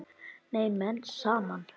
Ná menn saman?